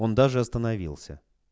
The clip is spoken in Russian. он даже остановился